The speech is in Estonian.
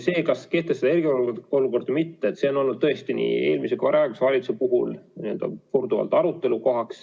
See, kas kehtestada eriolukord või mitte, on olnud tõesti nii eelmise kui ka praeguse valitsuse puhul korduvalt arutelu teema.